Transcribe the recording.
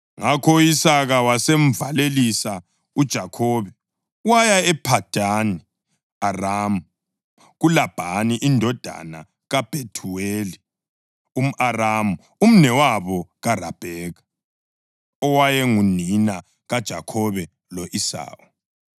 Ngakho u-Isaka wasemvalelisa uJakhobe, waya ePhadani Aramu, kuLabhani indodana kaBhethuweli umʼAramu, umnewabo kaRabheka, owayengunina kaJakhobe lo-Esawu.